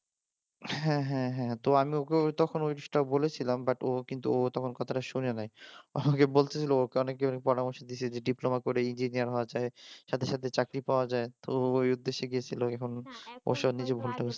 হ্যাঁ হ্যাঁ হ্যাঁ তো আমি ওকে তখন ওই জিনিসটা বলেছিলাম বাট ও কিন্তু ও তখন কথাটা শুনেনাই ও আমাকে বলতেছিল ওকে অনেকেই পরামর্শ দিয়েছে যে ডিপ্লোমা করে ইঞ্জিনিয়ার হওয়া যায় সাথে সাথে চাকরি পাওয়া যায় তো ওই উদ্দেশ্যে গেছিল